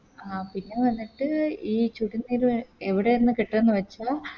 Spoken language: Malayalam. ആ പിന്നെ വന്നിട്ട് ഈ ചുടു നീര് എവിടെ ന്ന് കിട്ടുന്നു വെച്ച